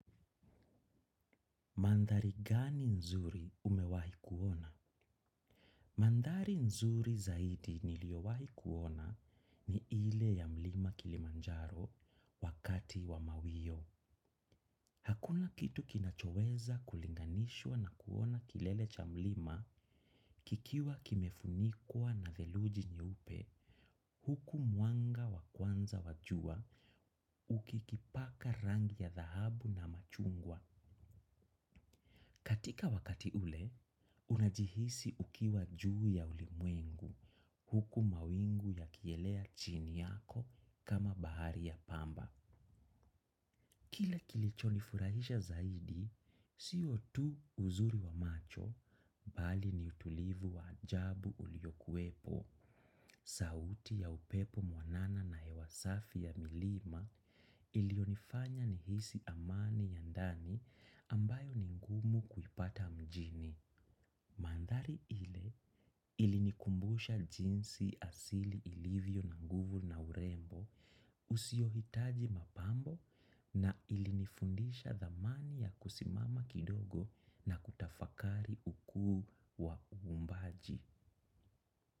Mandhari gani nzuri umewahi kuona? Mandhari nzuri zaidi niliowahi kuona ni ile ya mlima kilimanjaro wakati wa mawio. Hakuna kitu kinachoweza kulinganishwa na kuona kilele cha mlima kikiwa kimefunikwa na theluji nyeupe, huku mwanga wakwanza wa jua uki kipaka rangi ya dhahabu na machungwa. Katika wakati ule, unajihisi ukiwa juu ya ulimwengu, huku mawingu ya kielea chini yako kama bahari ya pamba. Kila kilicho nifurahisha zaidi, siyo tu uzuri wa macho, bali ni utulivu wa ajabu uliyokuepo, sauti ya upepo mwanana na hewa safi ya milima ilionifanya nihisi amani ya ndani ambayo ni ngumu kuipata mjini. Mandhari ile ilinikumbusha jinsi asili ilivyo na nguvu na urembo usio hitaji mapambo na ilinifundisha dhamani ya kusimama kidogo na kutafakari ukuu wa uumbaji.